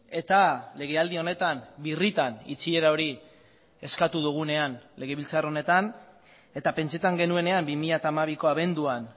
eta legealdi honetan birritan itxiera hori eskatu dugunean legebiltzar honetan eta pentsatzen genuenean bi mila hamabiko abenduan